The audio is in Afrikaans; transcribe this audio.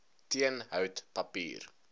teen hout papier